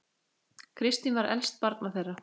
Kristín var elst barna þeirra.